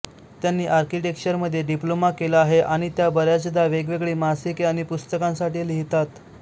त्यांनी आर्किटेक्चरमध्ये डिप्लोमा केला आहे आणि त्या बऱ्याचदा वेगवेगळी मासिके आणि पुस्तकांसाठी लिहितात